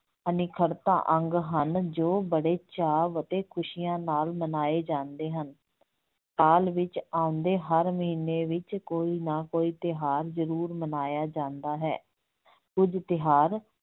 ਅਨਿੱਖੜਤਾ ਅੰਗ ਹਨ ਜੋ ਬਹੁਤ ਚਾਅ ਅਤੇ ਖੁਸੀਆਂ ਨਾਲ ਮਨਾਏ ਜਾਂਦੇ ਹਨ, ਸਾਲ ਵਿੱਚ ਆਉਂਦੇ ਹਰ ਮਹੀਨੇ ਵਿੱਚ ਕੋਈ ਨਾ ਕੋਈ ਤਿਉਹਾਰ ਜਰੂਰ ਮਨਾਇਆ ਜਾਂਦਾ ਹੈ ਕੁੱਝ ਤਿਉਹਾਰ